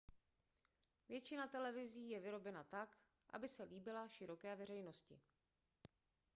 většina televizí je vyrobena tak aby se líbila široké veřejnosti